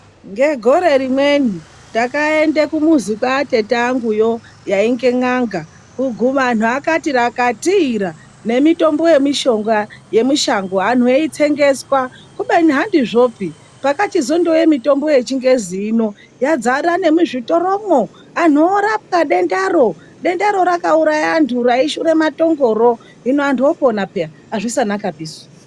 Ngegore rimweni takaenda kumuzi kwatete anguyo yainge n'anga kuguma iyo vandu vakati rakatira nemitombo yemushonga yemishango vantu vaitsengeswa ubeni hantizvopi pakazouya mitombo yechingezi hino yazara nemizvitoro vantu vorapwa dendaro raiuraya vantu reshura matongoro hino antu oponapa peya, azvisanakapisu.